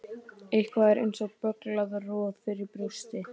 Eitthvað er eins og bögglað roð fyrir brjósti